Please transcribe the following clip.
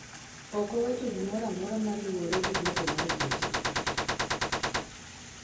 ok owacho gimoro amora maluwore gi duoko mar kes no